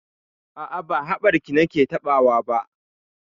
A'a, ba haɓarki nake taɓawa ba.